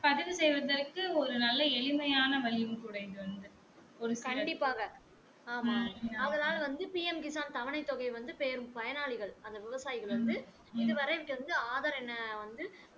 கண்டிப்பாக ஆமாம் ஆதலால் வந்து PM தவணை தொகை வந்து பெரும் பயனாளிகள் அந்த விவசாயிகள் வந்து இது வரை ஆதார் எண்ணை வந்து